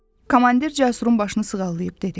Komandir Cəsurun başını sığallayıb dedi: